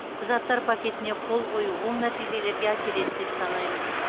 құжаттар пакетіне қол қою оң нәтижелерге әкеледі деп санаймыз